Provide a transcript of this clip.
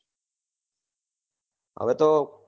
હવ તો